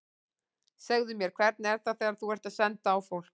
Segðu mér, hvernig er það þegar þú ert að senda á fólk.